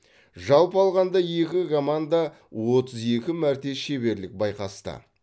жалпы алғанда екі команда отыз екі мәрте шеберлік байқасты